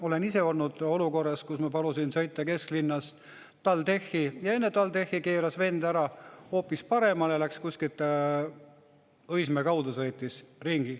Olen ise olnud olukorras, kus ma palusin sõita kesklinnast TalTechi, ja enne TalTechi keeras vend ära hoopis paremale, sõitis kuskilt Õismäe kaudu ringi.